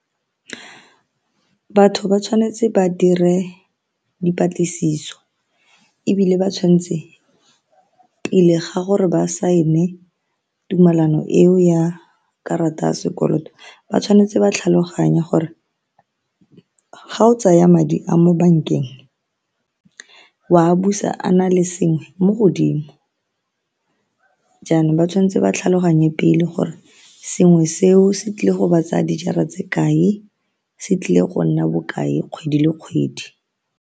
Batho ba tshwanetse ba dire dipatlisiso ebile ba tshwanetse pele ga gore ba sign-e tumellano eo ya karata ya sekoloto ba tshwanetse ba tlhaloganya gore ga o tsaya madi a mo bankeng wa busa a na le sengwe mo godimo jaanong ba tshwanetse ba tlhaloganye pele gore sengwe seo se tlile go ba tsaya dijara tse kae, se tlile go nna bokae kgwedi le kgwedi.